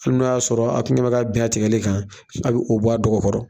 Hali n'o y'a sɔrɔ a kun ɲɛma ka bɛn a tigɛli kan a bɛ o bɔ a dɔgɔ kɔrɔ.